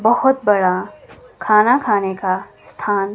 बहुत बड़ा खाना खाने का स्थान--